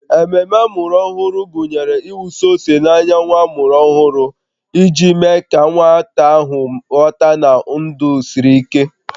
Ememe amụrụ ọhụrụ gụnyere ịwụsa ose n'anya nwa ọhụrụ iji mee ka nwata ahụ ghọta na ndụ siri ike